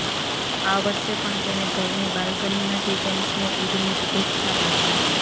આ વર્ષે પણ તેણે ઘરની બાલ્કનીમાંથી ફેન્સને ઈદની શુભેચ્છા પાઠવી